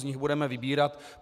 Z nich budeme vybírat.